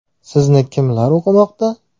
Sizni kim o‘qimoqda?